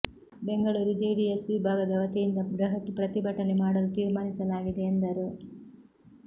Bengaluru JDS ವಿಭಾಗದ ವತಿಯಿಂದ ಬೃಹತ್ ಪ್ರತಿಭಟನೆ ಮಾಡಲು ತಿರ್ಮಾನಿಸಲಾಗಿದೆ ಎಂದರು